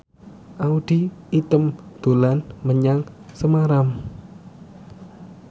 Audy Item dolan menyang Semarang